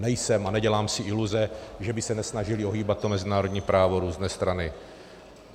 Nejsem a nedělám si iluze, že by se nesnažily ohýbat to mezinárodní právo různé strany.